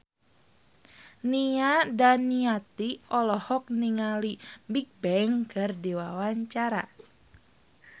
Nia Daniati olohok ningali Bigbang keur diwawancara